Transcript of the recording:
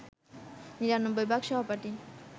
নিরানব্বই ভাগ সহপাঠী